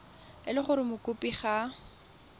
e le gore mokopi ga